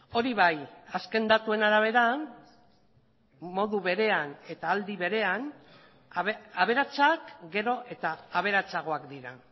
hori bai azken datuen arabera modu berean eta aldi berean aberatsak gero eta aberatsagoak dira